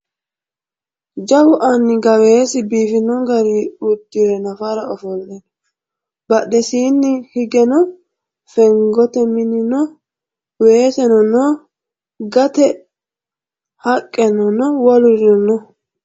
Jawu anni gaawesi biifino garii uddire nafara ofolle no badhesiinni higeno fenigote mini no weeseno no gate haqqene wolurino no